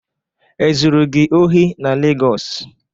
Ezụrụ gị ohị na Legọs?